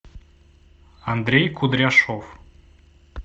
андрей кудряшов